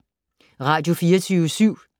Radio24syv